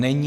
Není.